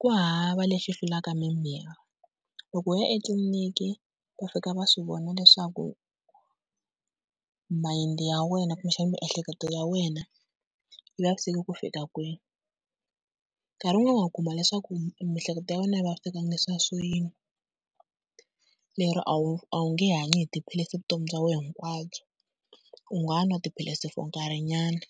Ku hava lexi hlulaka mimirhi loko u ya etliliniki va fika va swi vona leswaku mind ya wena kumbexana miehleketo ya wena yi vaviseki ku fika kwihi. Nkarhi wun'wana wa kuma leswaku miehleketo ya wena a yi vavisekangi leswiya swo yini, lero a wu a wu nge hanyi hi tiphilisi vutomi bya wena hinkwabyo, u nga nwa tiphilisi for nkarhinyana